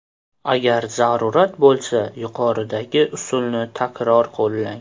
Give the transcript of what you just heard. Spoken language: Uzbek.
Agar zarurat bo‘lsa yuqoridagi usulni takror qo‘llang.